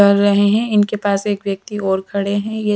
कर रहे हैं इनके पास एक व्यक्ति और खड़े हैं ये--